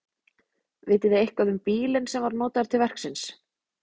Vitið þið eitthvað um bílinn sem var notaður til verksins?